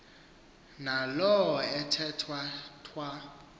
naalo ethwa thwa